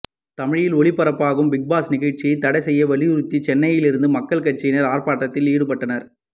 தமிழில் ஒளிபரப்பாகும் பிக்பாஸ் நிகழ்ச்சியை தடை செய்ய வலியுறுத்தி சென்னையில் இந்து மக்கள் கட்சியினர் ஆர்ப்பாட்டத்தில் ஈடுபட்டனர்